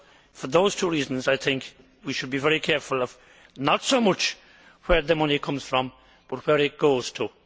For those two reasons, I think we should be very careful of not so much where the money comes from, but where it goes to.